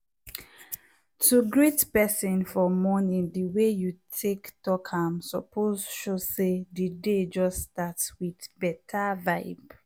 to greet person for morning the way you take talk am suppose show say the day just start with better vibe.